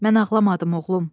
Mən ağlamadım, oğlum.